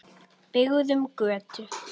Byggðum götu.